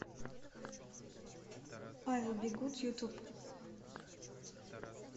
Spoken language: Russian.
айл би гуд ютуб